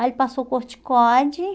Aí ele passou corticóide.